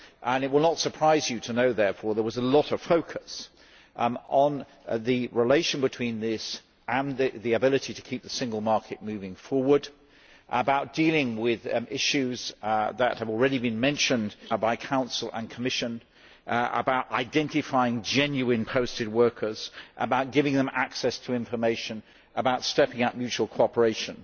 It will not surprise you to know, therefore, that there was a lot of focus on the relation between this and the ability to keep the single market moving forward, dealing with issues that have already been mentioned by the Council and Commission, identifying genuine posted workers, giving them access to information, and stepping up mutual cooperation.